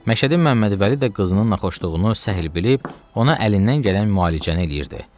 Məşədi Məmmədvəli də qızının naxoşluğunu səhl bilib, ona əlindən gələn müalicəni eləyirdi.